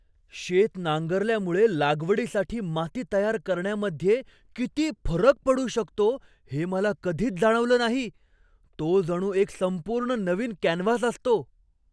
शेत नांगरल्यामुळे लागवडीसाठी माती तयार करण्यामध्ये किती फरक पडू शकतो हे मला कधीच जाणवलं नाही. तो जणू एक संपूर्ण नवीन कॅनव्हास असतो!